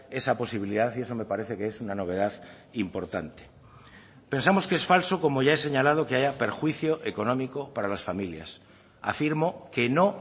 esa posibilidad y eso me parece que es una novedad importante pensamos que es falso como ya he señalado que haya perjuicio económico para las familias afirmo que no